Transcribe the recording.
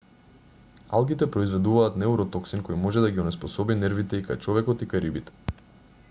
алгите произведуваат неуротоксин кој може да ги онеспособи нервите и кај човекот и кај рибите